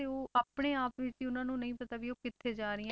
ਤੇ ਉਹ ਆਪਣੇ ਆਪ ਵਿੱਚ ਹੀ ਉਹਨਾਂ ਨੂੰ ਨਹੀਂ ਪਤਾ ਵੀ ਉਹ ਕਿੱਥੇ ਜਾ ਰਹੀਆਂ